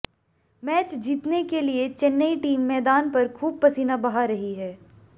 match जीतने के लिए चेन्नई टीम मैदान पर खूब पसीना बहा रही है